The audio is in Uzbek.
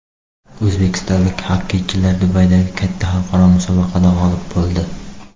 O‘zbekistonlik xokkeychilar Dubaydagi katta xalqaro musobaqada g‘olib bo‘ldi .